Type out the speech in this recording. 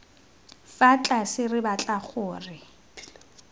fa tlase re batla gore